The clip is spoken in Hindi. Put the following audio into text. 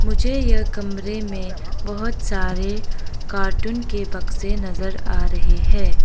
मुझे यह कमरे में बहोत सारे कार्टून के बक्से नजर आ रहे हैं।